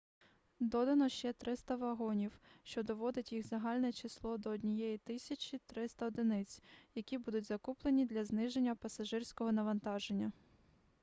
додано ще 300 вагонів що доводить їх загальне число до 1300 одиниць які будуть закуплені для зниження пасажирського навантаження